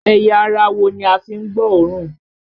Ẹ̀yà ara wo ni a fi ń gbọ́ òórùn?